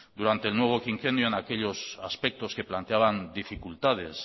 durante el nuevo quinquenio en aquellos aspectos que planteaban dificultades